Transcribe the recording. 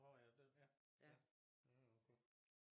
Nå ja det ja ja det er også godt